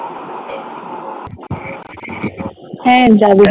হ্যাঁ যাবো